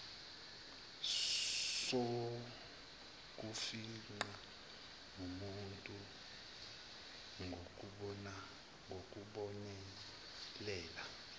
sokufingqa nobuntu ngokubonelela